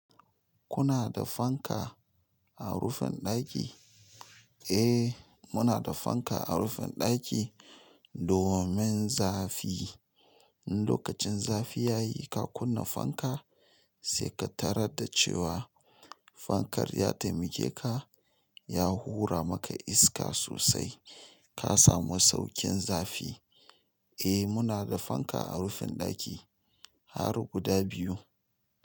Kuna da fanka a rufin ɗaki? Eh, muna da fanka a rufin ɗaki domin zafi. In lokacin zafi ya yi ka kunna fanka, sai ka tarar da cewa fankar ya taimake ka, ya hura maka iska sosai ka samu sauƙin zafi. Eh, muna da fanka a rufin ɗaki har guda biyu.